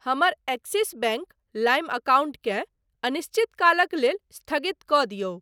हमर Axis bank लाइम अकाउंटकेँ अनिश्चित कालक लेल स्थगित कऽ दियौ।